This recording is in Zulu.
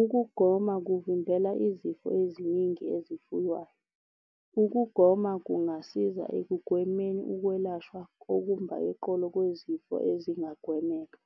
Ukugoma kuvimbela izifo eziningi ezifuywayo. Ukugoma kungasiza ekugwemeni ukwelashwa okumba eqolo kwezifo ezingagwemeka.